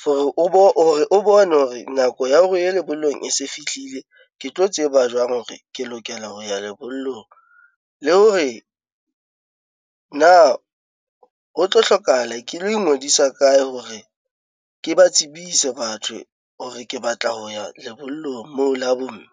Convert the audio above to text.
for hore o bo o re bone hore nako ya ho ya lebollong e se fihlile. Ke tlo tseba jwang hore ke lokela ho ya lebollong? Le hore na ho tlo hlokahala ke lo ingodisa kae hore ke ba tsebise batho hore ke batla ho ya lebollong moo la bo mme?